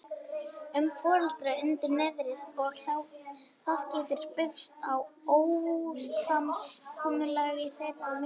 um foreldrana undir niðri og það getur birst í ósamkomulagi þeirra í milli.